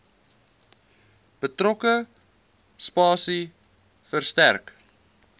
betrokke spasie verstrek